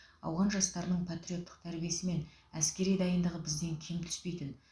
ауған жастарының патриоттық тәрбиесі мен әскери дайындығы бізден кем түспейтін